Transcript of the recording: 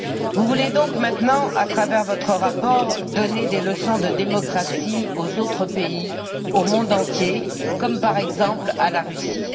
Vous voulez donc maintenant, à travers votre rapport, donner des leçons de démocratie aux autres pays, au monde entier, par exemple, à la Russie.